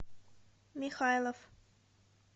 михайлов